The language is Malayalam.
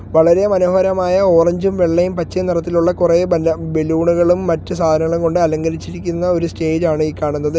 വളരെ മനോഹരമായ ഓറഞ്ചും വെള്ളയും പച്ച നിറത്തിലുള്ള കുറെ ബല ബലൂണുകളും മറ്റ് സാധനങ്ങളും കൊണ്ട് അലങ്കരിച്ചിരിക്കുന്ന ഒരു സ്റ്റേജ് ആണ് ഈ കാണുന്നത്.